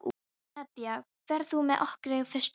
Nadja, ferð þú með okkur á föstudaginn?